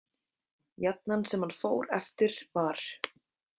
Jafnan sem hann fór eftir var.